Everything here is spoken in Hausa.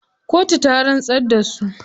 Katu ta rantsar da su.